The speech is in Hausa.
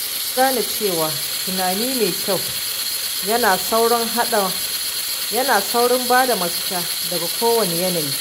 Na gane cewa tunani mai kyau yana saurin bada mafita daga kowane yanayi.